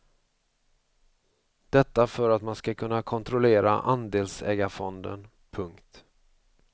Detta för att man ska kunna kontrollera andelsägarfonden. punkt